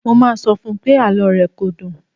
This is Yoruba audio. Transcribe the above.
Mo máa sọ fún pé àlọ́ rẹ kò dùn.